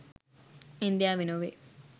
ඉන්දියාවේ නොවේ.